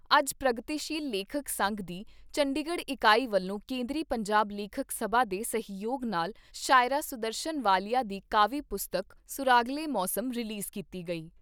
ਅੱਜ ਪ੍ਰਗਤੀਸ਼ੀਲ ਲੇਖਕ ਸੰਘ ਦੀ ਚੰਡੀਗੜ੍ਹ ਇਕਾਈ ਵੱਲੋਂ ਕੇਂਦਰੀ ਪੰਜਾਬੀ ਲੇਖਕ ਸਭਾ ਦੇ ਸਹਿਯੋਗ ਨਾਲ ਸ਼ਾਇਰਾ ਸੁਦਰਸ਼ਨ ਵਾਲੀਆ ਦੀ ਕਾਵਿ ਪੁਸਤਕ ' ਸੁਰਾਗਲੇ ਮੌਸਮ ' ਰਲੀਜ਼ ਕੀਤੀ ਗਈ।